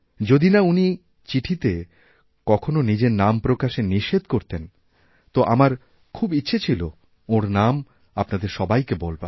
যদিনা উনি চিঠিতে কখনও নিজের নাম প্রকাশে নিষেধ করতেন তো আমার খুব ইচ্ছে ছিল ওঁরনাম আপনাদের সবাইকে বলবার